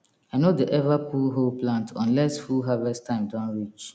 i no dey ever pull whole plant unless full harvest time don reach